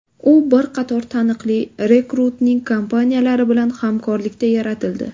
U bir qator taniqli rekruting kompaniyalari bilan hamkorlikda yaratildi.